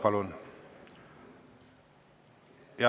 Palun!